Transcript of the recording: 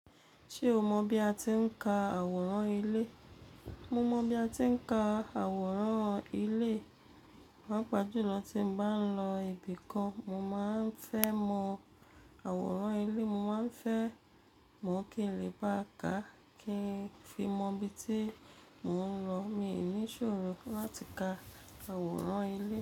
Ṣé o mọ̀ bí a ti ń ka àwòrán ilé? Mo mọ̀ bí a ti ń ka àwòrán ilé. Pápa ju lọ tí mo bá ń lọ ibì kan, mo máa ń fẹ́ mọ àwòrán ilé, mo máa ń fẹ́ mọ̀ kí n lè gbà ká kí n fi mọ ibi tí mò ń lọ. Èmi ní ìṣòro láti ka àwòrán ilé.